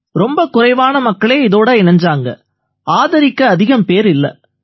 ரொம்ப குறைவான மக்களே இதோட இணைஞ்சாங்க ஆதரிக்க அதிகம் பேர் இல்லை